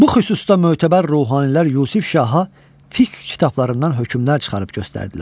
Bu xüsusda mötəbər ruhanilər Yusif şaha fiqh kitablarından hökmlər çıxarıb göstərdilər.